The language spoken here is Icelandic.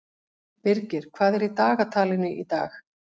Birgir, hvað er á dagatalinu í dag?